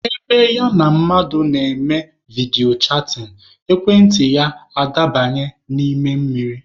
Ebe ya na mmadụ na-eme vidiyo chatịn, ekwentị ya adabanye n'ime mmiri.